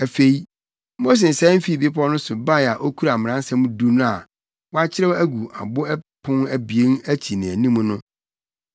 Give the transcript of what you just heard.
Afei, Mose sian fii bepɔw no so bae a okura Mmaransɛm Du no a wɔakyerɛw agu abo apon abien akyi ne anim no.